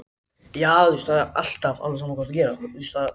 Við spiluðum vel í kvöld og áttum skilið að vinna.